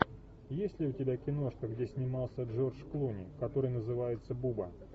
есть ли у тебя киношка где снимался джордж клуни который называется буба